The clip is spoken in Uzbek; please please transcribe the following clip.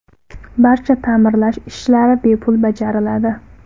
Barcha ta’mirlash ishlari bepul bajariladi.